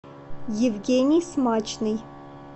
евгений смачный